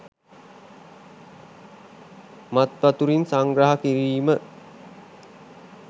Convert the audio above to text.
මත් වතුරින් සංග්‍රහ කිරීම